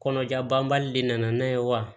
Kɔnɔja banbali de nana n'a ye wa